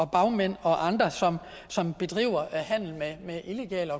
bagmænd og andre som som bedriver handel med illegale